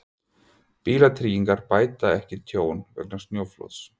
Bílatryggingar bæta ekki tjón vegna snjóflóðs